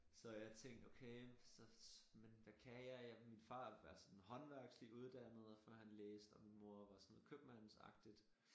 Så jeg tænkte okay så men hvad kan jeg min far er sådan håndværkslig uddannet før han læste og min mor var sådan købmandsagtigt